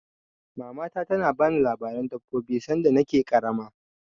Mamata ta na bani labaren dabbobi sanda na ke ƙarama